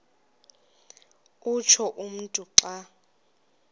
utsho umntu xa